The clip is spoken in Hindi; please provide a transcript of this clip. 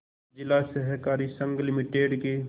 जिला सहकारी संघ लिमिटेड के